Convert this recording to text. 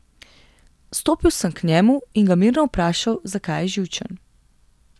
Stopil sem k njemu in ga mirno vprašal, zakaj je živčen.